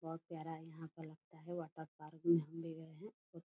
बहुत प्यारा यहाँ पर लगता है वाटर पार्क मे हम भी गए है।